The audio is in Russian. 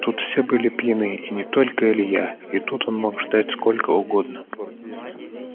тут все были пьяны и не только илья и тут он мог ждать сколько угодно